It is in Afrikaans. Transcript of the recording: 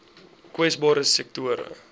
kwesbare sektore